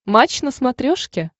матч на смотрешке